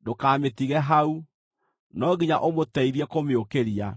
ndũkamĩtige hau; no nginya ũmũteithie kũmĩũkĩria.